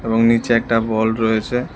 এবং নীচে একটা বল রয়েছে।